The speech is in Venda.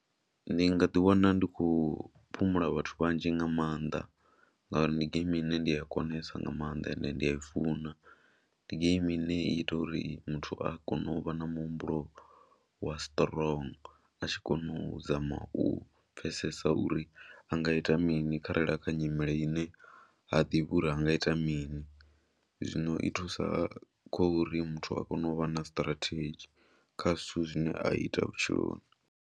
Ndi nga ḓiwana ndi khou phumula vhathu vhanzhi nga maanḓa ngauri ndi geimi ine ndi a konesa nga maanḓa ende ndi a i funa. Ndi geimi ine i ita uri muthu a kone u vha na muhumbulo wa strong a tshi kona u zama u pfhesesa uri a nga ita mini kharali a kha nyimele ine ha ḓivhi uri a nga ita mini, zwino i thusa khou ri muthu a kone u vha na strategy kha zwithu zwine a ita vhutshiloni.